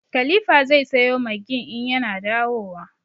Khalifa zai sayo Maggin in ya na dawowa.